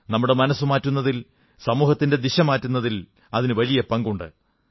നമ്മുടെ മനസ്സ് മാറ്റൂന്നതിൽ സമൂഹത്തിന്റെ ദിശ മാറ്റുന്നതിൽ അതിനു പങ്കുണ്ട്